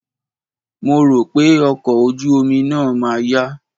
Mo rò pé ọkọ̀ ojú omi náà ma yá.